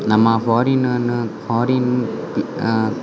ನಮ್ಮ foreign foreign ಅಹ್ --